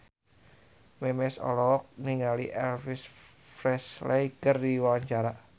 Memes olohok ningali Elvis Presley keur diwawancara